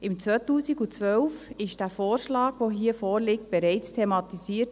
Im Jahr 2012 wurde der Vorschlag, der hier vorliegt, bereits thematisiert.